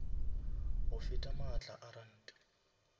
go feta maatla a ranta